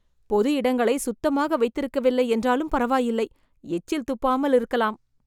பொது இடங்களை சுத்தமாக வைத்திருக்கவில்லை என்றாலும் பரவாயில்லை, எச்சில் துப்பாமல் இருக்கலாம்.